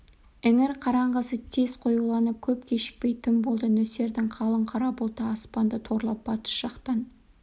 іңір қараңғысы тез қоюланып көп кешікпей түн болды нөсердің қалың қара бұлты аспанды торлап батыс жақтан